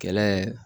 Kɛlɛ